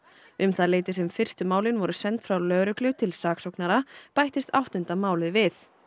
um það leyti sem fyrstu málin voru send frá lögreglu til saksóknara bættist áttunda málið við